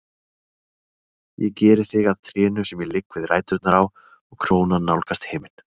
Ég geri þig að trénu sem ég ligg við ræturnar á og krónan nálgast himin.